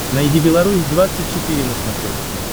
найди беларусь двадцать четыре на смотрешке